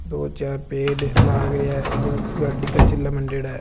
दो-चार पेड़ लाग रा हैं और गाड़ी के चिला मंडरा है।